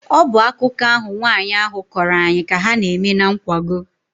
Ọ bụ akụkọ ahụ nwaanyị ahụ kọrọ anyị ka ha na-eme na nkwago.